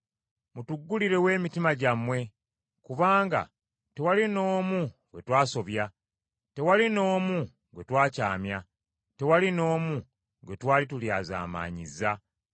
Mutuggulirewo emitima gyammwe, kubanga tewali n’omu gwe twasobya. Tewali n’omu gwe twakyamya. Tewali n’omu gwe twali tulyazaamaanyizza.